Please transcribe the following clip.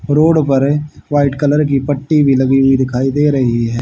Road पर white colour की पट्टी भी लगी हुई दिखाई दे रही है।